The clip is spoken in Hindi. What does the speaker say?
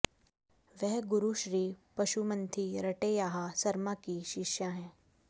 वह गुरु श्री पसुमंथी रटैयाहा सरमा की शिष्या हैं